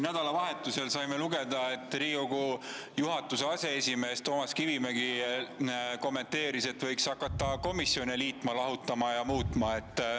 Nädalavahetusel saime lugeda Riigikogu aseesimehe Toomas Kivimägi kommentaari selle kohta, et võiks hakata komisjone liitma, lahutama ja muutma.